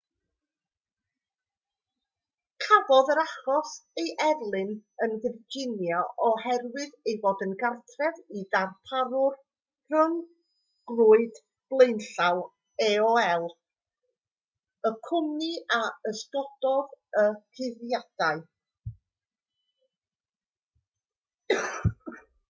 cafodd yr achos ei erlyn yn virginia oherwydd ei fod yn gartref i'r darparwr rhyngrwyd blaenllaw aol y cwmni a ysgogodd y cyhuddiadau